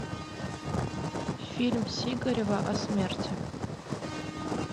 фильм сигарева о смерти